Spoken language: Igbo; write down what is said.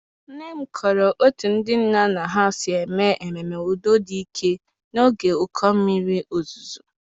Nne m kọrọ etu ndị nna nna ha si mee ememe udo dị ike n'oge ụkọ mmiri ozuzo.